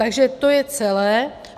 Takže to je celé.